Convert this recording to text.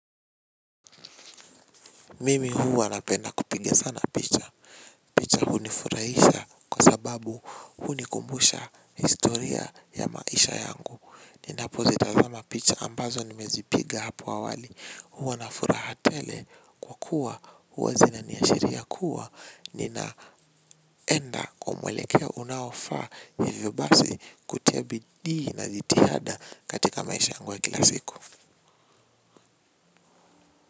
Mimi hua napenda kupiga sana picha picha hunifurahisha kwa sababu hunikumbusha historia ya maisha yangu, ninapo zitazama picha ambazo nimezipiga hapo awali huwa na furaha tele kwa kuwa huwa zina niashiria kuwa ninaenda kwa mwelekeo unaofaa hivyo basi kutia bidii na zitihada katika maisha yangu wa kila siku.